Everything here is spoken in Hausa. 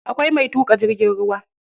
Akwai mai tuƙa jirgin ruwa.